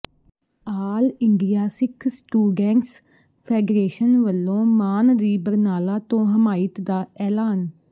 ਆਲ India Sikh Students Federation ਵੱਲੋਂ ਮਾਨ ਦੀ ਬਰਨਾਲਾ ਤੋਂ ਹਮਾਇਤ ਦਾ ਐਲਾਨ